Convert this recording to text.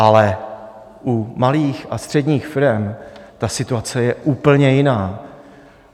Ale u malých a středních firem ta situace je úplně jiná.